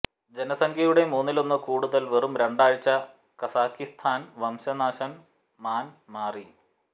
ജനസംഖ്യയുടെ മൂന്നിലൊന്ന് കൂടുതൽ വെറും രണ്ടാഴ്ച കസാക്കിസ്ഥാൻ വംശനാശം മാൻ മാറി